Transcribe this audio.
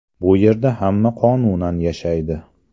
Bu yerda hamma qonunan yashaydi.